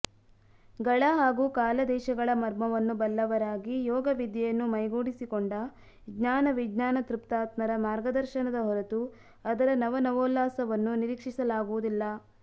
ಗಳ ಹಾಗೂ ಕಾಲದೇಶಗಳ ಮರ್ಮವನ್ನು ಬಲ್ಲವರಾಗಿ ಯೋಗವಿದ್ಯೆಯನ್ನು ಮೈಗೂಡಿಸಿಕೊಂಡ ಜ್ಞಾನವಿಜ್ಞಾನತೃಪ್ತಾತ್ಮರ ಮಾರ್ಗದರ್ಶನದ ಹೊರತು ಅದರ ನವನವೋಲ್ಲಾಸವನ್ನು ನಿರೀಕ್ಷಿಸಲಾಗುವುದಿಲ್ಲ